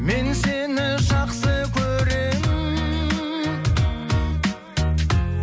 мен сені жақсы көремін